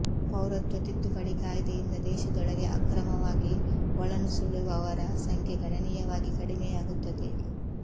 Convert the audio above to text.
ಪೌರತ್ವ ತಿದ್ದುಪಡಿ ಕಾಯ್ದೆಯಿಂದ ದೇಶದೊಳಗೆ ಅಕ್ರಮವಾಗಿ ಒಳನುಸುಳುವವರ ಸಂಖ್ಯೆ ಗಣನೀಯವಾಗಿ ಕಡಿಮೆಯಾಗುತ್ತದೆ